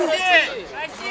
Rusiya!